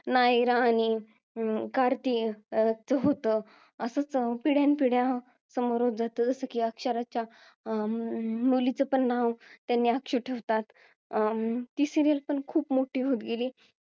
नायरा आणि अं कार्तिक च होतं असच पिढ्यानपिढ्या समोर च जातं होत की जसं की अक्षराच्या अं मुलीचं पण नाव त्यांनी अक्षू ठेवतात अं ती serial पण खूप मोठी होत गेली